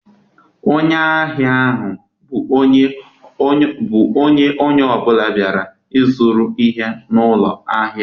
Onye ahịa bụ onye ọ bụla bịara ịzụrụ ihe n'ụlọ ahịa.